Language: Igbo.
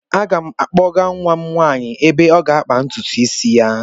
Aga m akpọga nwa m nwaanyị ebe ọ ga-akpa ntutu isi ya.